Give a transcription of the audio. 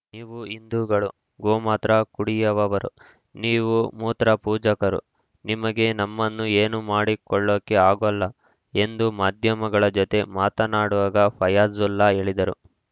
ನೀವು ಹಿಂದೂಗಳು ಗೋಮಾತ್ರ ಕುಡಿಯವವರು ನೀವು ಮೂತ್ರ ಪೂಜಕರು ನಿಮಗೆ ನಮ್ಮನ್ನು ಏನೂ ಮಾಡಿಕೊಳ್ಳೋಕೆ ಆಗಲ್ಲ ಎಂದು ಮಾಧ್ಯಮಗಳ ಜತೆ ಮಾತಾಡುವಾಗ ಫಯ್ಯಾಜುಲ್‌ ಹೇಳಿದ್ದರು